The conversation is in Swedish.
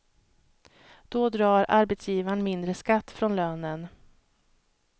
Då drar arbetsgivaren mindre skatt från lönen.